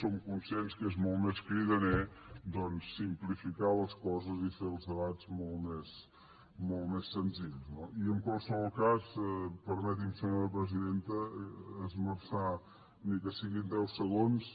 som conscients que és molt més cridaner doncs simplificar les coses i fer els debats molt més senzills no i en qualsevol cas permeti’m senyora presidenta esmerçar ni que siguin deu segons